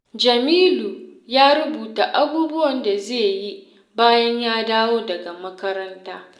Jamilu ya rubuta abubuwan da zai yi bayan ya dawo daga makaranta.